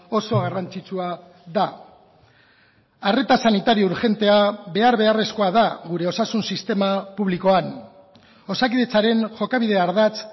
oso garrantzitsua da arreta sanitario urgentea behar beharrezkoa da gure osasun sistema publikoan osakidetzaren jokabide ardatz